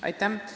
Aitäh!